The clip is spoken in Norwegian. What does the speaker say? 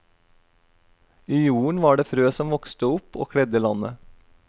I jorden var det frø som vokste opp og kledde landet.